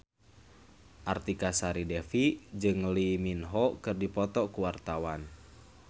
Artika Sari Devi jeung Lee Min Ho keur dipoto ku wartawan